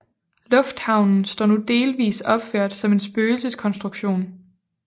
Lufthavnen står nu delvist opført som en spøgelseskonstruktion